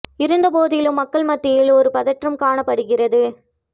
இருந்த போதிலும் மக்கள் மத்தியில் ஒரு பதற்றம் காணப் படுகிறது